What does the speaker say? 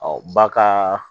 ba ka